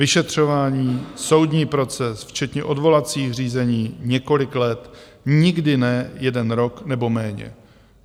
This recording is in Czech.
Vyšetřování, soudní proces včetně odvolacích řízení několik let, nikdy ne jeden rok nebo méně.